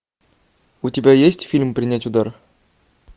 у тебя есть фильм принять удар